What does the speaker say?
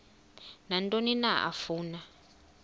nantoni na afuna